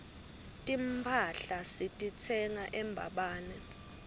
timphahla sititsenga embabane